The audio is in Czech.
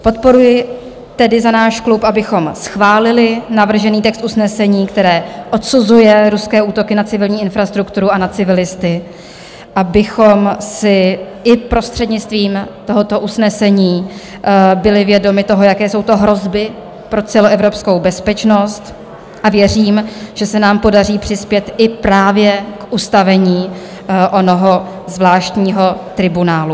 Podporuji tedy za náš klub, abychom schválili navržený text usnesení, které odsuzuje ruské útoky na civilní infrastrukturu a na civilisty, abychom si i prostřednictvím tohoto usnesení byli vědomi toho, jaké jsou to hrozby pro celoevropskou bezpečnost, a věřím, že se nám podaří přispět i právě k ustavení onoho zvláštního tribunálu.